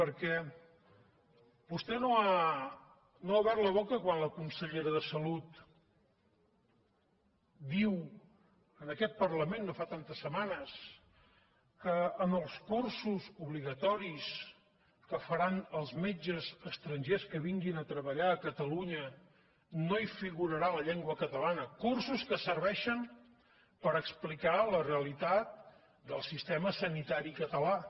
perquè vostè no ha obert la boca quan la consellera de salut diu en aquest parlament no fa tantes setmanes que en els cursos obligatoris que faran els metges estrangers que vinguin a treballar a catalunya no hi figurarà la llengua catalana cursos que serveixen per explicar la realitat del sistema sanitari català